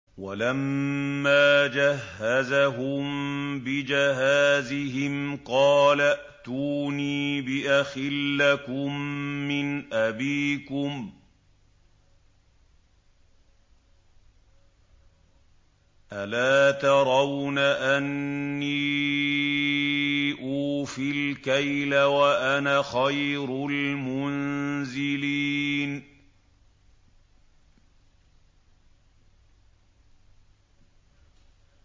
وَلَمَّا جَهَّزَهُم بِجَهَازِهِمْ قَالَ ائْتُونِي بِأَخٍ لَّكُم مِّنْ أَبِيكُمْ ۚ أَلَا تَرَوْنَ أَنِّي أُوفِي الْكَيْلَ وَأَنَا خَيْرُ الْمُنزِلِينَ